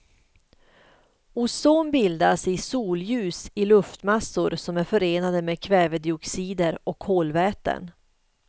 Ozon bildas i solljus i luftmassor som är förorenade med kvävedioxider och kolväten.